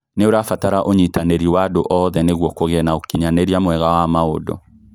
Nĩũrabatara ũnyitanĩrĩ wa andũ othe nĩguo kũgie na ũkinyanĩria mwega wa maũndũ